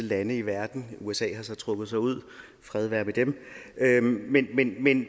lande i verden usa har så trukket sig ud og fred være med det men